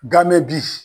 Ganme